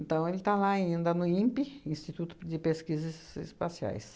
Então, ele está lá ainda no INPE, Instituto de Pesquisas Espaciais.